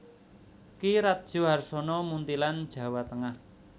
Ki Radyo Harsono Muntilan Jawa Tengah